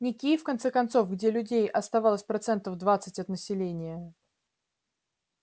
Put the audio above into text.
не киев в конце концов где людей осталось процентов двадцать от населения